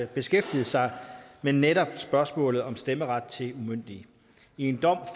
beskæftiget sig med netop spørgsmålet om stemmeret til umyndige i en dom